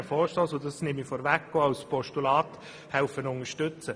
Wir würden ihn auch als Postulat unterstützen.